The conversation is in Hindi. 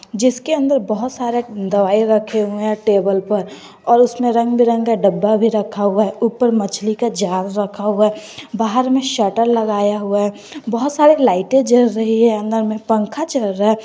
जिसके अंदर बहोत सारे दवाई रखे हुए हैं टेबल पर और उसमें रंग बिरंगे डब्बा भी रखा हुआ है ऊपर मछली का जार रखा हुआ है बाहर में शटर लगाया हुआ है बहुत सारे लाइटे जल रही है अंदर में पंखा चल रहा है।